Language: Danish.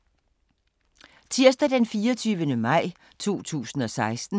Tirsdag d. 24. maj 2016